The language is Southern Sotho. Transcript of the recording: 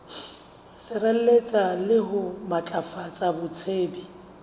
sireletsa le ho matlafatsa botsebi